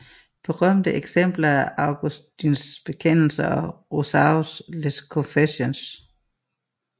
Berømte eksempler er Augustins bekendelser og Rousseaus Les Confessions